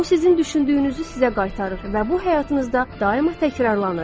O sizin düşündüyünüzü sizə qaytarır və bu həyatınızda daima təkrarlanır.